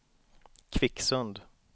Kvicksund